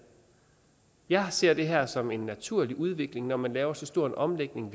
jeg ser det her som en naturlig udvikling når man laver så stor en omlægning